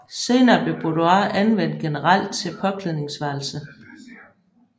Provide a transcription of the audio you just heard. Senere blev boudoir anvendt generelt til påklædningsværelse